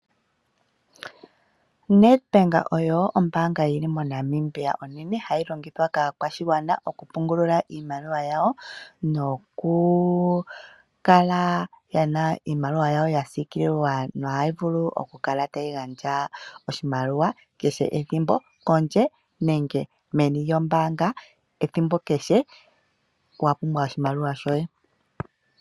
Nedbank oyo ombaanga yi li mo Namibia onene hayi longithwa kaakwashigwana okupungula iimaliwa yawo nokukala ye na iimaliwa yawo ya siikililwa nohayi vulu okukala tayi gandja oshimaliwa kehe ethimbo kondje nenge meni lyombaanga ethimbo kehe wa pumbwa oshimaliwa shoye.